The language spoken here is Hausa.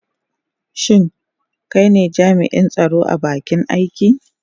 Shin kai ne jami'in tsaro a bakin aiki?